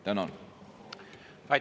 Tänan!